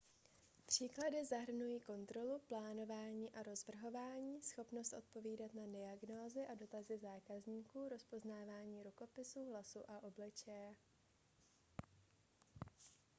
příklady zahrnují kontrolu plánování a rozvrhování schopnost odpovídat na diagnózy a dotazy zákazníků rozpoznávání rukopisu hlasu a obličeje